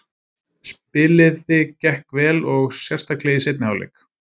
Spiliði gekk vel og sérstaklega í seinni hálfleik.